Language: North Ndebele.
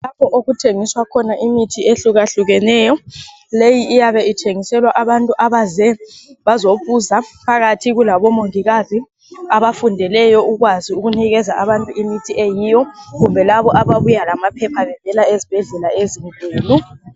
Lapho okuthengiswa khona imithi ehlukahlukeneyo. Leyi iyabe ithengiselwa abantu abaze bazobuza phakathi kulabo mongikazi abafundeleyo ukwazi ukunikeza abantu imithi eyiyo kumbe labo ababuya lamaphepha bevela ezibhedlela ezinkulu.